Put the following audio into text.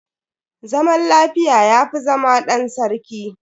Zaman lafiya yafi zama ɗan sarki